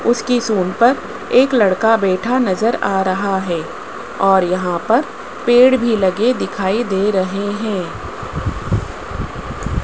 उसकी सूंड पर एक लड़का बैठा नजर आ रहा है और यहां पर पेड़ भी लगे दिखाई दे रहे हैं।